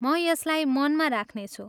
म यसलाई मनमा राख्नेछु।